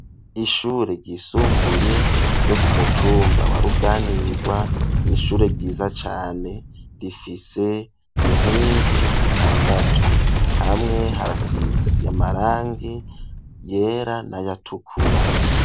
Ishure ryisumbuye ryo kumutumba wa ruganirwa n'ishure ryiza cyane rifise inkingi zitandatu hamwe harasiz yamarangi yera n[ayatukura.